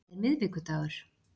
Það er miðvikudagur.